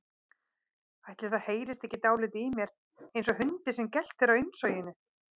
Ætli það heyrist ekki dáldið í mér einsog hundi sem geltir á innsoginu.